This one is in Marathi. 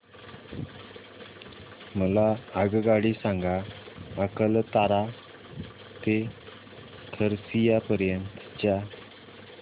मला आगगाडी सांगा अकलतरा ते खरसिया पर्यंत च्या